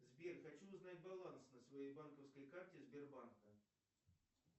сбер хочу узнать баланс на своей банковской карте сбербанка